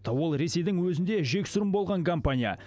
ол ресейдің өзінде жексұрын болған компания